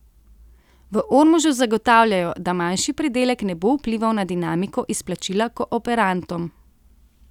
V Ormožu zagotavljajo, da manjši pridelek ne bo vplival na dinamiko izplačila kooperantom.